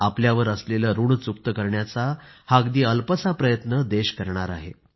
आपल्यावर असलेलं ऋण चुकतं करण्याचा हा अगदी अल्पसा प्रयत्न देश करणार आहे